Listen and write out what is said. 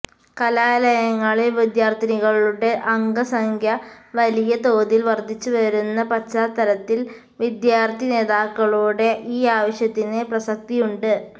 കലാലയങ്ങളില് വിദ്യാര്ഥിനികളുടെ അംഗസംഖ്യ വലിയ തോതില് വര്ധിച്ചുവരുന്ന പശ്ചാത്തലത്തില് വിദ്യാര്ഥി നേതാക്കളുടെ ഈ ആവശ്യത്തിന് പ്രസക്തിയുണ്ട്